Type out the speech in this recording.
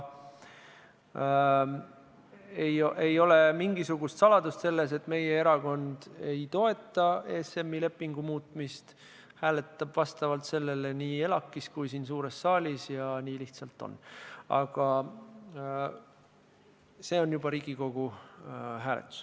Ei ole mingisugust saladust selles, et meie erakond ei toeta ESM-i lepingu muutmist ja hääletab vastavalt sellele nii ELAK-is kui ka siin suures saalis, nii lihtsalt on, aga see on juba Riigikogu hääletus.